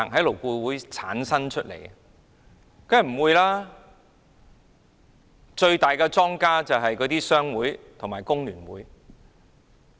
當然不會，最大的莊家就是商會和工聯會。